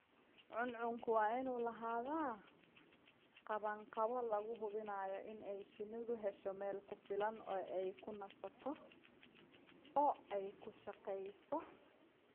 Cuncunku waa inuu lahaadaa qabanqaabo lagu hubinayo inay shinnidu hesho meel ku filan oo ay ku nasato oo ay ku shaqeyso.